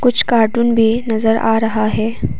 कुछ कार्टून भी नजर आ रहा है।